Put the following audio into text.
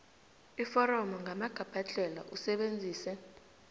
iforomo ngamagabhadlhela usebenzise